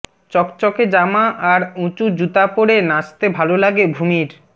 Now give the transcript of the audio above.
চকচকে জামা আর উঁচু জুতা পরে নাচতে ভালো লাগে ভূমির